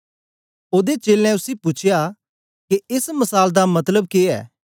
ओदे चेलें उसी पूछया के एस मसाल दा मतलब के ऐ